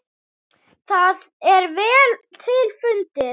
Það er vel til fundið.